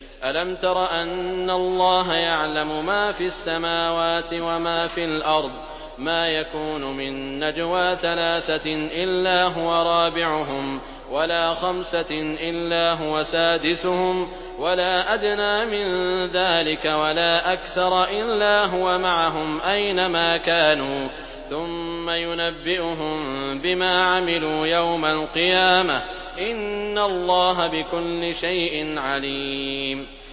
أَلَمْ تَرَ أَنَّ اللَّهَ يَعْلَمُ مَا فِي السَّمَاوَاتِ وَمَا فِي الْأَرْضِ ۖ مَا يَكُونُ مِن نَّجْوَىٰ ثَلَاثَةٍ إِلَّا هُوَ رَابِعُهُمْ وَلَا خَمْسَةٍ إِلَّا هُوَ سَادِسُهُمْ وَلَا أَدْنَىٰ مِن ذَٰلِكَ وَلَا أَكْثَرَ إِلَّا هُوَ مَعَهُمْ أَيْنَ مَا كَانُوا ۖ ثُمَّ يُنَبِّئُهُم بِمَا عَمِلُوا يَوْمَ الْقِيَامَةِ ۚ إِنَّ اللَّهَ بِكُلِّ شَيْءٍ عَلِيمٌ